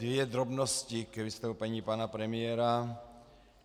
Dvě drobnosti k vystoupení pana premiéra.